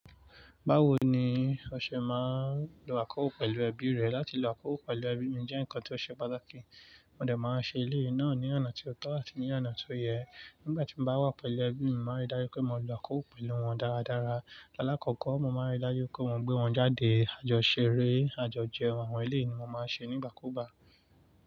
Báwo ni ọṣẹ máa ń lo àkọ́kò pẹ̀lú ẹbí rẹ̀. Láti lo àkọ́kò pẹ̀lú ẹbí mi jẹ́ ǹkan tó ṣe pàtàkì. Mo dẹ̀ máa ń ṣe eléyìí náà ní ọ̀nà tí ó tọ́ àti ní ọ̀nà tó yẹ. Nígbà tí mo bá wà pẹ̀lú ẹbí mi, màá rí dájú pé mo lo àkọ́kò pẹ̀lú wọn dáradára. Láàkọ́kọ́, mo máa ń rí dájú pé wọ́n gbé wọn jáde, àjọṣeré, àjọjẹun àwọn ilé ni mo máa ń ṣe nígbàkúùgbà.